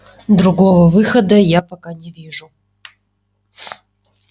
другого выхода я пока не вижу